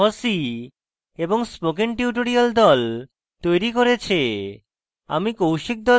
এই script fossee এবং spoken tutorial the তৈরী করেছে